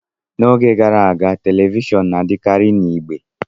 N'oge gara aga, telivishọn na-adịkarị na igbe